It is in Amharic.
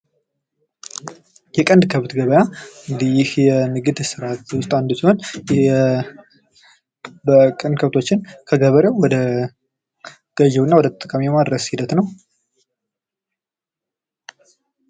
የቀንድ ከብት ገበያ ፦እንግድህ ይህ የንግድ ስርአት ውስጥ አንዱ ሲሆን ይህ የቀንድ ከብቶችን ከገበሬው ወደ ገዥው እና ወደ ተጠቃሚው የማድረስ ሂደት ነው።